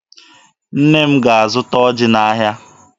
Nne m ga-azụta ọjị n'ahịa.